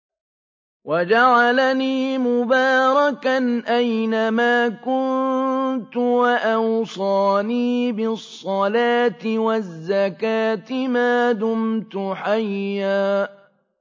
وَجَعَلَنِي مُبَارَكًا أَيْنَ مَا كُنتُ وَأَوْصَانِي بِالصَّلَاةِ وَالزَّكَاةِ مَا دُمْتُ حَيًّا